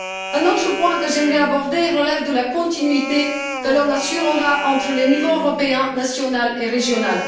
Un autre point que j'aimerais aborder relève de la continuité que l'on assurera entre les niveaux européen, national et régional.